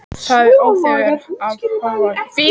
Það er óþefur af honum fýla!